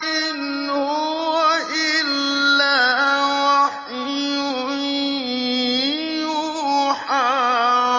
إِنْ هُوَ إِلَّا وَحْيٌ يُوحَىٰ